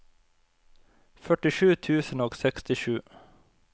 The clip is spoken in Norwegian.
førtisju tusen og sekstisju